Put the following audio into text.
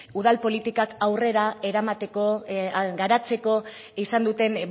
udal politikak aurrera eramateko garatzeko izan duten